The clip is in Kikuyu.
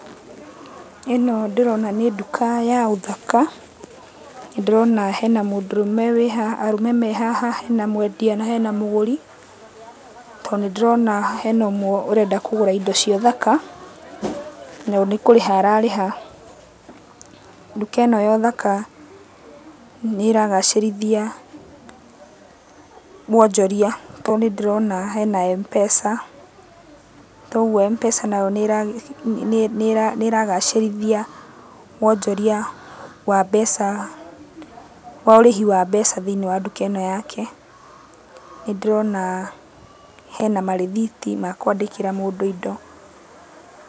Ĩno ndĩrona nĩ nduka ya ũthaka. Nĩndĩrona hena mũndũrũme wĩhaha arũme me haha, hena mwendia na hena mũgũri, tondũ nĩndĩrona hena ũmwe ũrenda kũgũra indo cia ũthaka, na nĩkũrĩha ararĩha. Nduka ĩno ya ũthaka, nĩragacĩrithia wonjoria, tondũ nĩndĩrona hena Mpesa, toguo Mpesa nayo nĩragacĩrithia wonjoria wa mbeca wa ũrĩhi wa mbeca thĩiniĩ wa nduka ĩno yake. Nĩndĩrona hena marĩthiti ma kwandĩkĩra mũndũ indo.